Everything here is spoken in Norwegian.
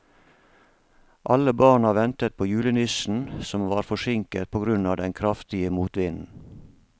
Alle barna ventet på julenissen, som var forsinket på grunn av den kraftige motvinden.